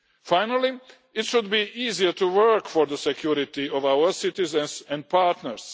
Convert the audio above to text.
Finally, it should be easier to work for the security of our citizens and partners.